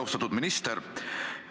Austatud minister!